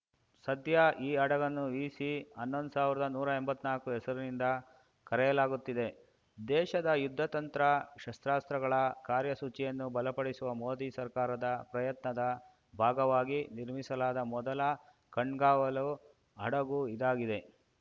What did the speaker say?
ಸದ್ಯ ಈ ಹಡಗನ್ನು ವಿಸಿ ಹನ್ನೊಂದು ಸಾವಿರ್ದಾ ನೂರಾ ಎಂಬತ್ನಾಕು ಹೆಸರುನಿಂದ ಕರೆಯಲಾಗುತ್ತಿದೆ ದೇಶದ ಯುದ್ಧತಂತ್ರ ಶಸ್ತ್ರಾಸ್ತ್ರಗಳ ಕಾರ್ಯಸೂಚಿಯನ್ನು ಬಲಪಡಿಸುವ ಮೋದಿ ಸರ್ಕಾರದ ಪ್ರಯತ್ನದ ಭಾಗವಾಗಿ ನಿರ್ಮಿಸಲಾದ ಮೊದಲ ಕಣ್ಗಾವಲು ಹಡಗು ಇದಾಗಿದೆ